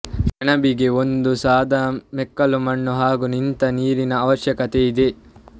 ಸೆಣಬಿಗೆ ಒಂದು ಸಾದಾ ಮೆಕ್ಕಲು ಮಣ್ಣು ಹಾಗು ನಿಂತ ನೀರಿನ ಅವಶ್ಯಕತೆಯಿದೆ